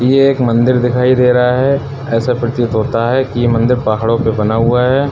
ये एक मंदिर दिखाई दे रहा है। ऐसा प्रतीत होता है कि ये मंदिर पहाड़ों पर बना हुआ है।